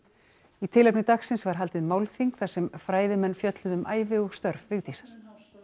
í tilefni dagsins var haldið málþing þar sem sem fræðimenn fjölluðu um ævi og störf Vigdísar